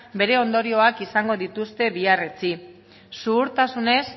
bere ondorioak izango dituzte bihar etzi zuhurtasunez